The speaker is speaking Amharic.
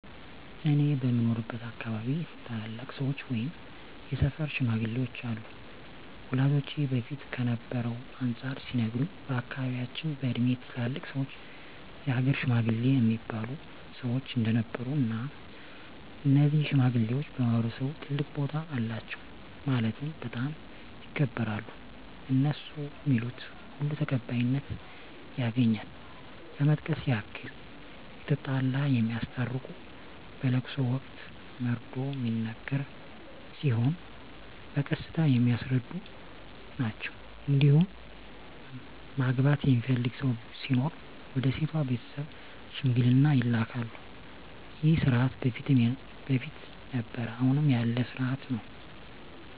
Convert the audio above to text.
እኔ በምኖርበት አካባቢ ታላላቅ ሰዎች ወይም የሰፈር ሽማግሌዎች አሉ ወላጆቼ በፊት ከነበረው አንፃር ሲነግሩኝ በአካባቢያቸው በእድሜ ትላልቅ ሰዎች የሀገር ሽማግሌ እሚባሉ ሰዎች እንደነበሩ እና እነዚህ ሽማግሌዎች በማህበረሰቡ ትልቅ ቦታ አላቸው ማለትም በጣም ይከበራሉ እነሡ ሚሉት ሁሉ ተቀባይነት ያገኛል ለመጥቀስ ያክል የተጣላ የሚያስታርቁ በለቅሶ ወቅት መርዶ ሚነገር ሲሆን በቀስታ የሚያስረዱ ናቸዉ እንዲሁም ማግባት የሚፈልግ ሰው ሲኖር ወደ ሴቷ ቤተሰብ ሽምግልና ይላካሉ ይህ ስርዓት በፊትም ነበረ አሁንም ያለ ስርአት ነው።